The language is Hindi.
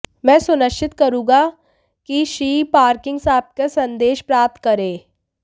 मैं सुनिश्चित करूंगा कि श्री पार्किन्स आपका संदेश प्राप्त करें